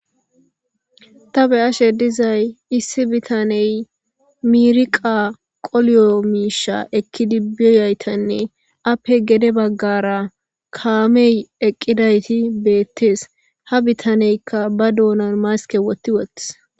ta be ashe dizay issi bitaney miiriqa qoliyo miisha ekki dibbiyaytanne appe gede baggara kaamey eqqidayti beettees ha bitaneykka ba doonan maske wotti wothis